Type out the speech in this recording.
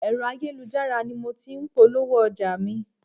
Ẹ̀rọ ayélujára ni mo ti ń polówó ọjà mi.